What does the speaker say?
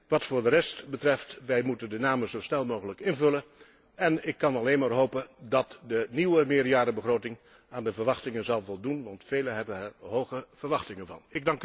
Wat de rest betreft, wij moeten de namen zo snel mogelijk invullen en ik kan alleen maar hopen dat de nieuwe meerjarenbegroting aan de verwachtingen zal voldoen, want velen hebben er hoge verwachtingen van.